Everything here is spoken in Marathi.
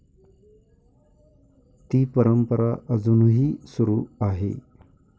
ती परंपरा अजूनही सुरू आहे.